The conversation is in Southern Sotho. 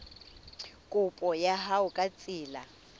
kopo ya hao ka tsela